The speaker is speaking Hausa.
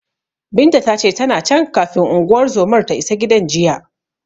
Binta ta ce, tana can, kafin unguwar zomar ta isa gidan jiya.